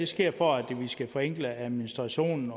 sker for at forenkle administrationen